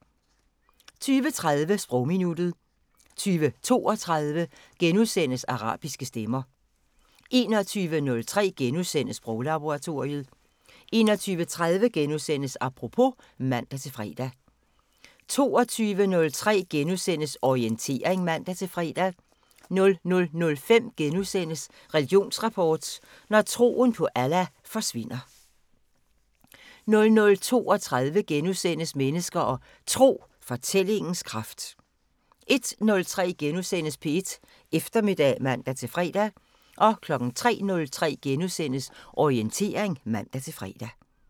20:30: Sprogminuttet 20:32: Arabiske stemmer * 21:03: Sproglaboratoriet * 21:30: Apropos *(man-fre) 22:03: Orientering *(man-fre) 00:05: Religionsrapport: Når troen på Allah forsvinder * 00:32: Mennesker og Tro: Fortællingens kraft * 01:03: P1 Eftermiddag *(man-fre) 03:03: Orientering *(man-fre)